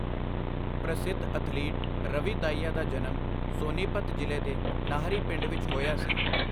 ਪ੍ਰਸਿੱਧ ਅਥਲੀਟ, ਰਵੀ ਦਾਹੀਆ ਦਾ ਜਨਮ ਸੋਨੀਪਤ ਜ਼ਿਲ੍ਹੇ ਦੇ ਨਾਹਰੀ ਪਿੰਡ ਵਿੱਚ ਹੋਇਆ ਸੀ।